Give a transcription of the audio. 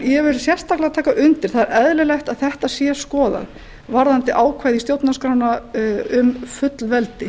vil sérstaklega taka undir það er eðlilegt að þetta sé skoðað varðandi ákvæði í stjórnarskránni um fullveldi